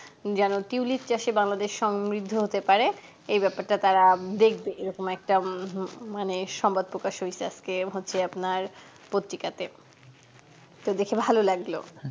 যেন tulip চাষে বাংলাদেশ সমৃদ্ধ হতে পারে এই ব্যাপারটা তারা দেখবে এরকম একটা উম হুম মানে একটা সংবাদ প্রকাশ হৈছে আজকে হৈছে আপনার পত্রিকাতে তো দেখে ভালো লাগলো